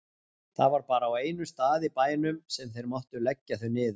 Það var bara á einum stað í bænum sem þeir máttu leggja þau niður.